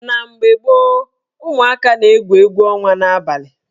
Na mgbe gboo, umụaka na-egwu egwu ọnwa n'abalị